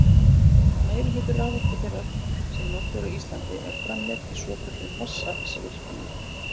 meirihluti raforku þeirrar sem notuð er á íslandi er framleidd í svokölluðum vatnsaflsvirkjunum